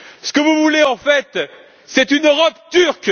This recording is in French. Ce que vous voulez, en fait, c'est une Europe turque!